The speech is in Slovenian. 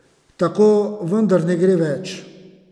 Tako vendar ne gre več!